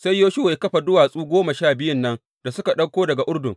Sai Yoshuwa ya kafa duwatsu goma sha biyun nan da suka ɗauko daga Urdun.